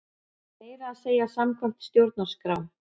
Meira að segja samkvæmt stjórnarskrá!